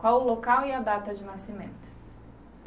Qual o local e a data de nascimento?